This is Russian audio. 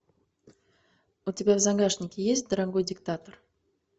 у тебя в загашнике есть дорогой диктатор